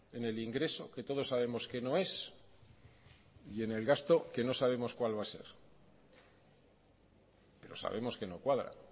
en el ingreso que todos sabemos que no es y en el gasto que no sabemos cuál va a ser pero sabemos que no cuadra